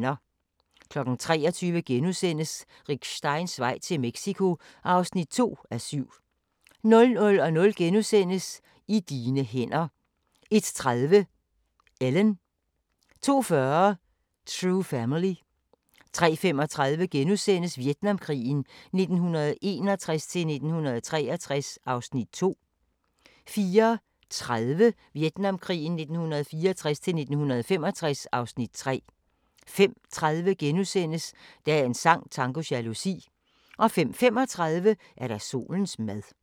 23:00: Rick Steins vej til Mexico (2:7)* 00:00: I dine hænder * 01:30: Ellen 02:40: True family 03:35: Vietnamkrigen 1961-1963 (Afs. 2)* 04:30: Vietnamkrigen 1964-1965 (Afs. 3) 05:30: Dagens sang: Tango jalousi * 05:35: Solens mad